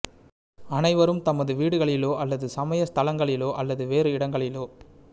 அனைவரும் தமது வீடுகளிலோ அல்லது சமய ஸ்தலங்களிலோ அல்லது வேறு இடங்களிலோ